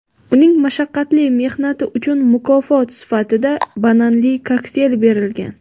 Uning "mashaqqatli mehnati" uchun mukofot sifatida bananli kokteyl berilgan.